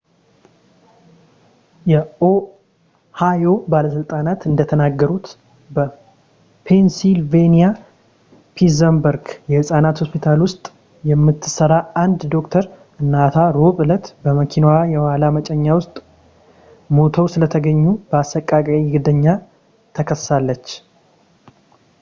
የኦሃዮ ባለሥልጣናት እንደተናገሩት በፔንሲልቬንያ ፒትስበርግ የሕፃናት ሆስፒታል ውስጥ የምትሠራ አንድ ዶክተር እናቷ ረቡዕ ዕለት በመኪናዋ የኋላ መጫኛ ውስጥ ሙተው ስለተገኙ በአሰቃቂ ግድያ ትከሰሳለች